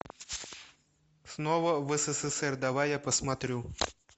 снова в ссср давай я посмотрю